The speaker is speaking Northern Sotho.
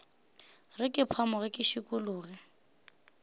re ke phamoge ke šikologe